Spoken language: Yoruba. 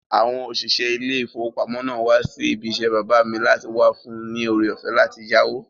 Àwọn òṣìṣẹ́ ilé ìfowópamọ́ náà wá sí ibi isẹ́ bàbá mi láti wá fún un ní ore-ọ̀fẹ́ láti yáwó